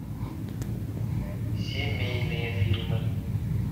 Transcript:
семейные фильмы